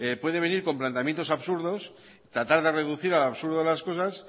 puede venir con planteamientos absurdos tratar de reducir al absurdo las cosas